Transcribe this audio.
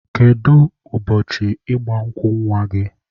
Kedu ụbọchị ịgba nkwụ nwa gị?